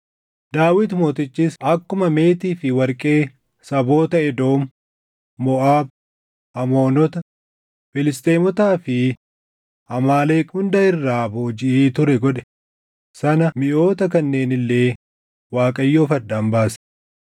Daawit Mootichis akkuma meetii fi warqee saboota Edoom, Moʼaab, Amoonota, Filisxeemotaa fi Amaaleq hunda irraa boojiʼee ture godhe sana miʼoota kanneen illee Waaqayyoof addaan baase.